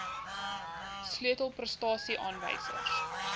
sleutel prestasie aanwysers